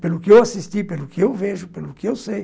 Pelo que eu assisti, pelo que eu vejo, pelo que eu sei.